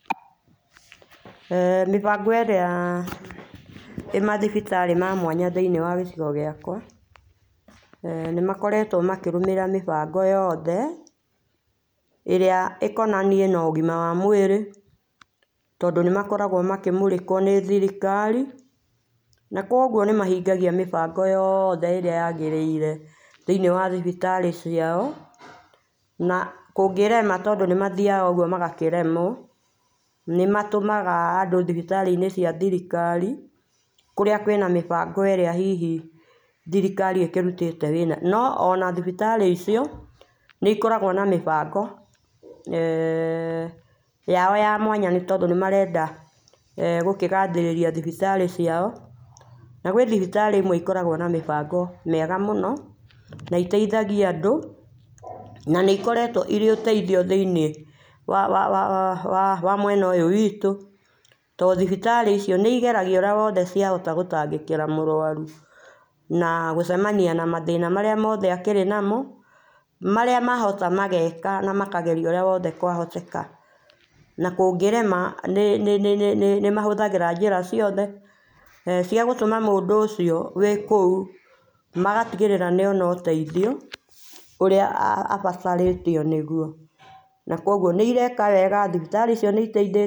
[eeh]Mĩbango ĩrĩa ĩ mathibitari ma mwanya thĩinĩ wa gĩcico gĩakwa eeh nĩmakoretwo makĩrũmĩrĩra mĩbango yothe ĩrĩa ĩkonainiĩ na ũgima wa mwĩrĩ tondũ nĩmakoragwo makĩmũrĩkwo nĩ thirikari na kũogũo nĩ mahingagia mĩbango yothe ĩrĩa yagĩrĩire thĩinĩ wa thibitari ciao na kũngĩrema to nĩgũthĩayaga ũgũo magakĩremwo, nĩmatũmaga andũ thibitari inĩ cia thirikari kũrĩa kwĩna mĩbango ĩrĩa hihi thirikari ĩkĩrũtĩte wĩra no ona thibitarĩ icio nĩ ĩkoragwo na mĩbango eeh yao ya mwanya nĩ tondũ nĩmarenda eeh gũkĩgathĩrĩria thibitari ciao, na gwĩ thibitari imwe ikoragwo na mĩbango na iteithagia andũ na nĩ ĩkoretwo ĩrĩ ũteithio thĩinĩ wa wa wa mwena ũyũ witũ tondũ thibitari icio nĩ ĩgeragia ũrĩa wothe ongĩhota gũtangĩkĩra mũrwarũ na gũcemania na mthĩna marĩa mothe akĩrĩ namo marĩa mahota mageka na makageria ũrĩa wothe kwahoteka na kũngĩrema nĩ nĩ mahũthagĩra njĩra ciothe, eeh cia gũtũma mũndũ ũcio wĩ kũu magatigĩrĩra nĩona ũteithio ũrĩa abataranĩtio nĩgũo na kũogũo nĩ ĩreka wega thibitari icio nĩ iteithĩtie.